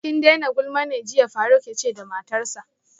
Ki daina gulma ne jiya faruk yace da matarsa